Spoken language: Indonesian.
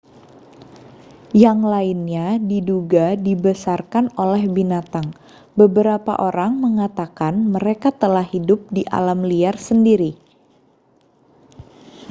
yang lainnya diduga dibesarkan oleh binatang beberapa orang mengatakan mereka telah hidup di alam liar sendiri